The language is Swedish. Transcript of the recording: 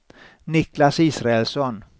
Niklas Israelsson